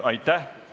Aitäh!